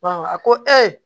a ko ee